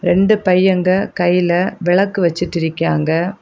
ரெண்டு பையங்க கைல வெலக்கு வச்சிட்டு இருக்காய்ங்க.